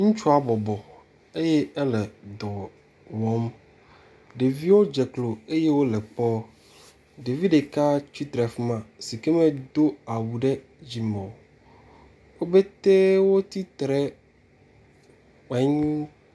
Ŋutsua bɔbɔ eye ele dɔ wɔm. Ɖeviwo dze klo eye wole kpɔm. Ɖevi ɖeka tsitre ɖe afi ma si ke medo awu ɖe dzime o. Wo petɛ wotsitre …